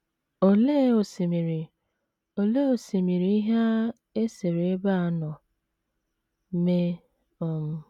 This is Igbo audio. Olee osimiri Olee osimiri ihe a e sere ebe a nọ mee um?